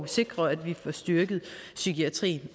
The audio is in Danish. sikre at vi får styrket psykiatrien